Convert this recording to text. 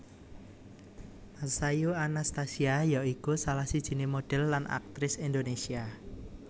Masayu Anastasia ya iku salah sijiné modhél lan aktris Indonésia